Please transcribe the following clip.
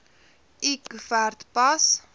l koevert pas